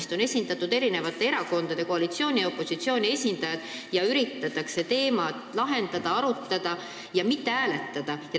Seal on esindatud eri erakondade, koalitsiooni ja opositsiooni esindajad, seal üritatakse probleeme lahendada, arutada ja mitte hääletada.